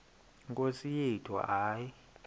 nkosi yethu hayi